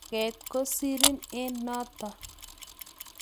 manget kosirin eng noto